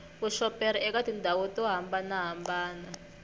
vuxoperi eka tindhawu to hambanahambana